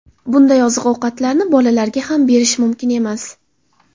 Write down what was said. Bunday oziq-ovqatlarni bolalarga ham berish mumkin emas.